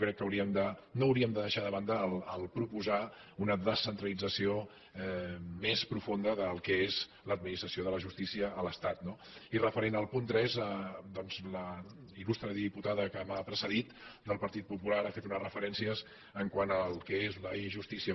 crec que no hauríem de deixar de banda proposar una descentralització més profunda del que és l’administració de la justícia a l’estat no i referent al punt tres doncs la il·lustre diputada que m’ha precedit del partit popular ha fet unes referències quant al que és l’e justicia